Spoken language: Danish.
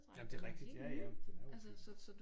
Jamen det rigtig ja ja den er jo pæn